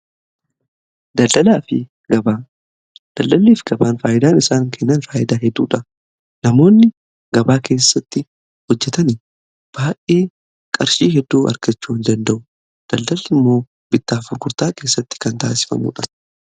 Daldalii if gabaan faayyidaan isaan kennan faayidaa hedduudha. Namoonni gabaa keessatti hojjetan baay'ee qarshii hedduu argachuu hin danda'u daldala immoo bittaaf gurgurtaa keessatti kan taasifamuudha.